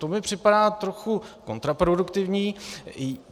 To mi připadá trochu kontraproduktivní.